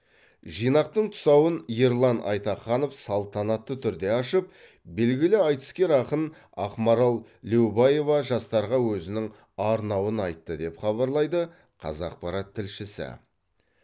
жинақтың тұсауын ерлан айтаханов салтанатты түрде ашып белгілі айтыскер ақын ақмарал леубаева жастарға өзінің арнауын айтты деп хабарлайды қазақпарат тілшісі